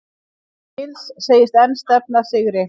Mills segist enn stefna að sigri